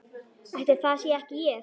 Ætli það sé ekki ég.